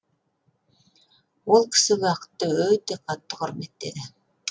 ол кісі уақытты өте қатты құрметтеді